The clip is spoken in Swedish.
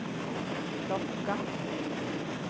plocka